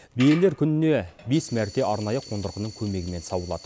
биелер күніне бес мәрте арнайы қондырғының көмегімен сауылады